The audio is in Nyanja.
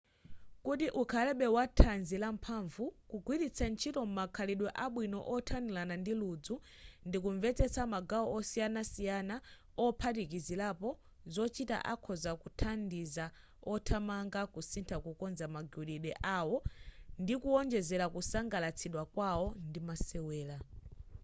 kuti ukhalebe wa thanzi lamphamvu kugwiritsa ntchito makhalidwe abwino othanirana ndi ludzu ndi kumvetsetsa magawo osiyanasiyana ophatikizirapo zochita akhoza kuthandiza othamanga kusintha kukonza magwiridwe awo ndi kuonjezera kusangalatsidwa kwawo ndi masewera